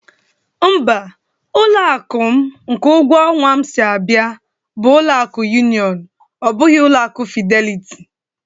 Mba, ụlọ akụ m nke ụgwọ ọnwa m si abịa, bụ ọlụ akụ yunion, ọ bụghị ọlụ akụ Fideliti